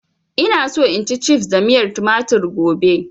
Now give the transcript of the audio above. Ina so in ci cifs da miyar tumatir gobe